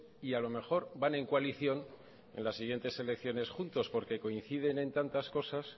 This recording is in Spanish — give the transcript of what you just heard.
y a lo mejor van en coalición en las siguientes elecciones juntos porque coinciden en tantas cosas